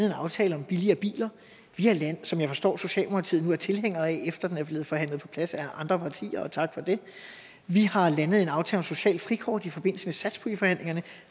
en aftale om billigere biler som jeg forstår socialdemokratiet nu er tilhængere af efter at den er blevet forhandlet på plads af andre partier og tak for det vi har landet en aftale om socialt frikort i forbindelse med satspuljeforhandlingerne